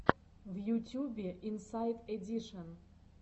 в ютюбе инсайд эдишен